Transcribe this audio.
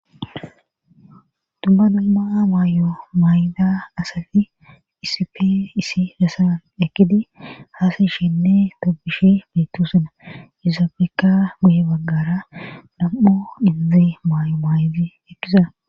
dubba dumma maayo maayida asafi isipe isi dasan ekkidi haasishenne tobishi beytu suna yozaabeka buye baggara dam7o inzi maayo maayiti ekkiza